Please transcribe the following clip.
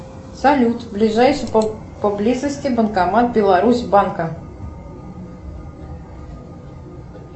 салют ближайший по близости банкомат беларусь банка